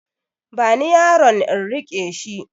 Bani yaron in riƙe shi